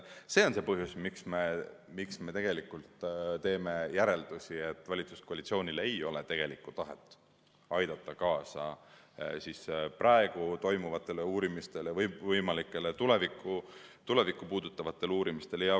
See on see põhjus, miks me teeme järelduse, et valitsuskoalitsioonil ei ole tegelikku tahet aidata kaasa praegu toimuvatele uurimistele või võimalikele tulevikku puudutavatele uurimistele.